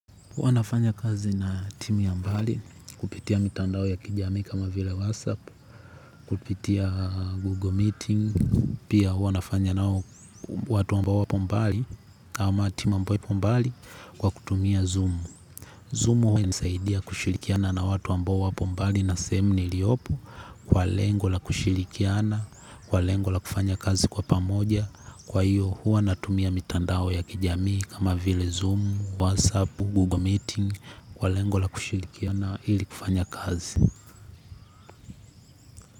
Huwa nafanya kazi na timu ya mbali, kupitia mitandao ya kijami kama vile WhatsApp, kupitia Google Meeting, pia huwa nafanya nao watu ambao wapo mbali kwa kutumia Zoom. Zoom huwa inanisaidia kushirikiana na watu ambao wako mbali na sehemu iliyopo kwa lengo la kushirikiana kwa lengo la kufanya kazi kwa pamoja kwa hiyo huwa natumia mitandao ya kijamii kama vile zoom WhatsApp google meeting kwa lengo la kushirikiana ili kufanya kazi.